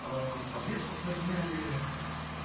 ээ подвеску подняли